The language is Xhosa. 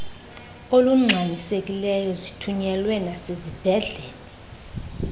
olungxamisekileyo zithunyelwe nasezibhedlele